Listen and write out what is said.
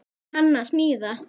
Hann að smíða.